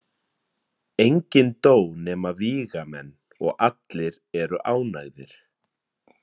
Enginn dó nema vígamenn og allir eru ánægðir.